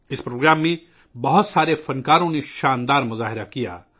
اس programme میں بہت سے فن کاروں نے خوبصورت فن کا مظاہرہ کیا